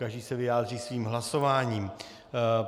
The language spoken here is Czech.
Každý se vyjádří svým hlasováním.